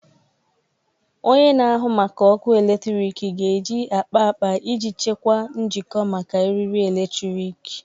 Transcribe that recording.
Onye na-ahụ maka ọkụ eletrik ga-eji akpa akpa iji chekwaa njikọ maka eriri eletrik.